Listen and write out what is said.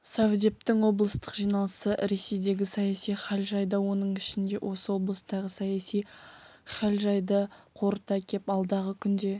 совдептің облыстық жиналысы ресейдегі саяси хәл-жайды оның ішінде осы облыстағы саяси хәл-жайды қорыта кеп алдағы күнде